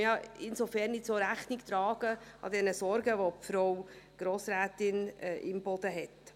Insofern trägt dies auch den Sorgen Rechnung, die Frau Grossrätin Imboden hat.